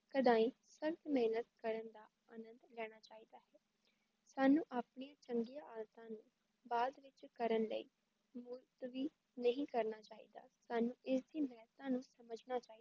ਸਦਾ ਹੀ ਸਖ਼ਤ ਮੇਹਨਤ ਕਰਨ ਦਾ ਆਨੰਦ ਲੈਣਾ ਚਾਹੀਦਾ ਹੈ ਸਾਨੂੰ ਆਪਣੀ ਚੰਗੀ ਆਦਤਾਂ ਨੂੰ ਬਾਅਦ ਵਿੱਚ ਕਰਨ ਲਈ ਵੀ ਚਾਹੀਦਾ ਸਾਨੂੰ ਇਸ ਦੀ ਮੇਹਤਾਂ ਨੂੰ ਸਮਝਣਾ ਚਾਹੀਦਾ ਹੈ